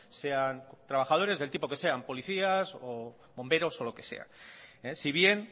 sean trabajadores del tipo que sean policías o bomberos o lo que sea si bien